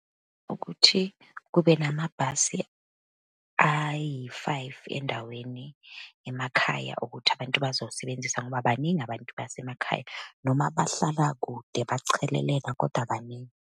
Ukuthi kube namabhasi ayi-five endaweni emakhaya ukuthi abantu bazowasebenzisa, ngoba baningi abantu basemakhaya, noma bahlala kude bachelelene, kodwa baningi.